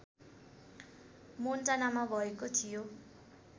मोन्टानामा भएको थियो